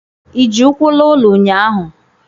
ị ji ụkwụ laa ụlọ ụnyahụ?